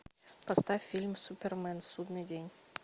поставь фильм супермен судный день